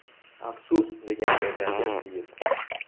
Afsus!”, degan Egamberdiyev.